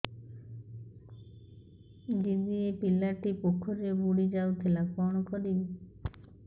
ଦିଦି ଏ ପିଲାଟି ପୋଖରୀରେ ବୁଡ଼ି ଯାଉଥିଲା କଣ କରିବି